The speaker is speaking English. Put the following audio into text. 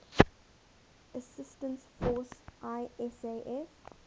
assistance force isaf